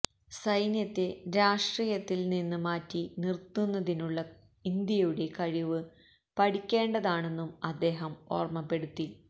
സൈന്യത്തേ രാഷ്ട്രീയത്തില് നിന്ന് മാറ്റി നിര്ത്തുന്നതിനുള്ള ഇന്ത്യയുടെ കഴിവ് പഠിക്കേണ്ടതാണെന്നും അദ്ദേഹം ഓര്മ്മപ്പെടുത്തി